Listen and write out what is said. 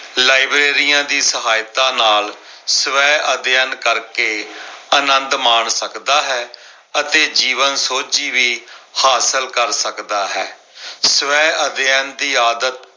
ਲਾਇਬ੍ਰੇਰੀਆਂ ਦੀ ਸਹਾਇਤਾ ਨਾਲ ਸਵੈ ਅਧਿਐਨ ਕਰਕੇ ਆਨੰਦ ਮਾਣ ਸਕਦਾ ਹੈ ਅਤੇ ਜੀਵਨ ਸੋਝੀ ਵੀ ਹਾਸਲ ਕਰ ਸਕਦਾ ਹੈ। ਸਵੈ ਅਧਿਐਨ ਦੀ ਆਦਤ